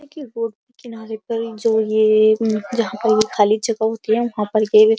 देखिए ये रोड किनारे पर जो ये यहाँ पर खाली जगह होती है। वहाँ पर ये --